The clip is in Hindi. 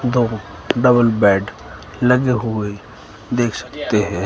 दो डबल बेड लगे हुए देख सकते है।